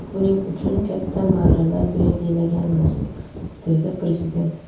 Buning uchun katta marralar belgilaganmiz”, dedi Prezident.